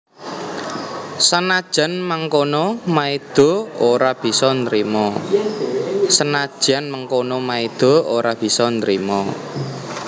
Sanajan mangkono Maida ora bisa nrima